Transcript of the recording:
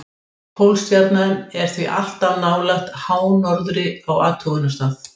Pólstjarnan er því alltaf nálægt hánorðri á athugunarstað.